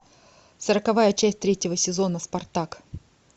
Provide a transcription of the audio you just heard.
сороковая часть третьего сезона спартак